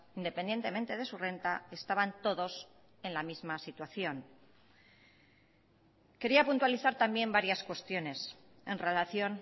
independientemente de su renta estaban todos en la misma situación quería puntualizar también varias cuestiones en relación